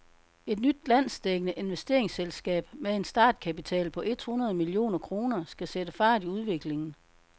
Et nyt landsdækkende investeringsselskab med en startkapital på et hundrede millioner kroner skal sætte fart i udviklingen.